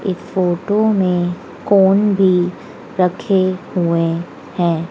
इस फोटो में कोन भी रखे हुए है।